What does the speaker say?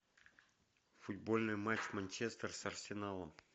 футбольный матч манчестер с арсеналом